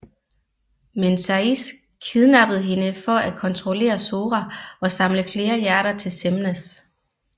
Men Saïx kidnappede hende for at kontrollere Sora og samle flere hjerter til Xemnas